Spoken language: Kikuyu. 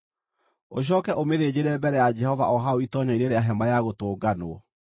Ũcooke ũmĩthĩnjĩre mbere ya Jehova o hau itoonyero-inĩ rĩa Hema-ya-Gũtũnganwo.